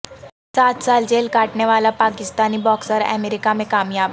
سات سال جیل کاٹنے والا پاکستانی باکسر امریکہ میں کامیاب